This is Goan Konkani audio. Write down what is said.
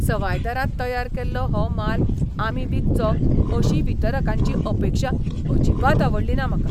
सवाय दरांत तयार केल्लो हो माल आमी विकचो अशी वितरकांची अपेक्षा अजिबात आवडलीना म्हाका.